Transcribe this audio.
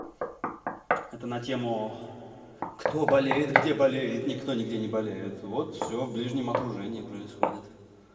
это на тему кто болеет где болеет никто нигде не болеет вот всё в ближнем окружении происходит